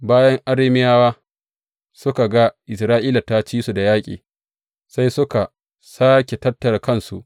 Bayan Arameyawa suka ga Isra’ila ta ci su da yaƙi, sai suka sāke tattara kansu.